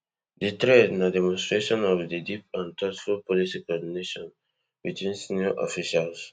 di thread na demonstration of di deep and thoughtful policy coordination between senior officials